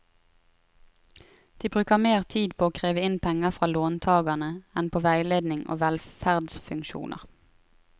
De bruker mer tid på å kreve inn penger fra låntagerne, enn på veiledning og velferdsfunksjoner.